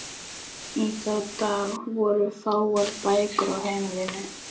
Í þá daga voru fáar bækur á heimilum.